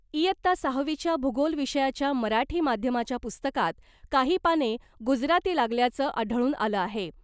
इयत्ता सहावीच्या भूगोल विषयाच्या मराठी माध्यमाच्या पुस्तकात काही पाने गुजराती लागल्याचं आढळून आलं आहे .